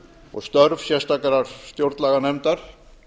og störf sérstakrar stjórnlaganefndar